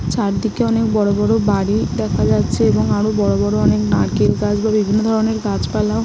চারদিকে অনেক বড়ো বড়ো বাড়ি দেখা যাচ্ছে এবং আরো বড়ো বড়ো নারকেল গাছ বা বিভিন্ন ধরণের গাছপালাও --